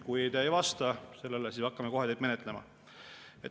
Kui te ei vasta sellele, siis me hakkame kohe menetlema.